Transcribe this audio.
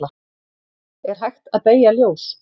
er hægt að beygja ljós